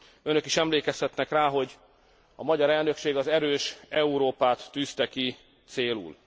Önök is emlékezhetnek rá, hogy a magyar elnökség az erős Európát tűzte ki célul.